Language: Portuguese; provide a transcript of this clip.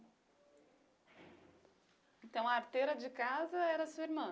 Então a arteira de casa era a sua irmã?